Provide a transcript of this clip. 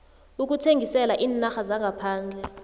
ukuthengisela iinarha zangaphandle